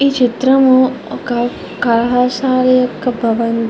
ఈ చిత్రం ఒక కళాశాల యొక్క --